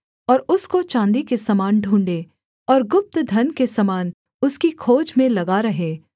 और उसको चाँदी के समान ढूँढ़े और गुप्त धन के समान उसकी खोज में लगा रहे